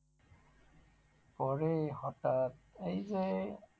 পরে হঠাৎ এই যে,